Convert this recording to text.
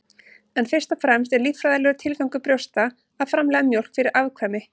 en fyrst og fremst er líffræðilegur tilgangur brjósta að framleiða mjólk fyrir afkvæmi